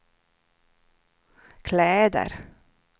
kläder